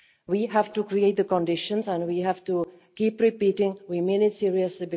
We have to create the right conditions and we have to keep repeating that we mean it seriously.